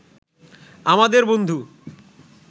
আমাদের বন্ধু